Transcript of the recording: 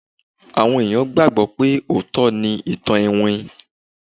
àwọn ènìyàn gbagbo pe ootọ ni ìtàn iwin